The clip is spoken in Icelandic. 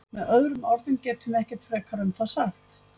Með öðrum orðum getum við ekkert frekar um það sagt.